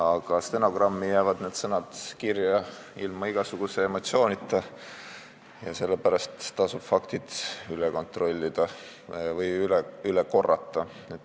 Aga stenogrammi jäävad tema sõnad kirja ilma igasuguse emotsioonita ja sellepärast tasub faktid üle korrata.